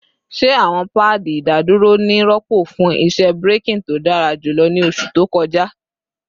Ṣe awọn paadi idaduro ni rọpo fun iṣẹ braking to dara julọ ni oṣu to kọja?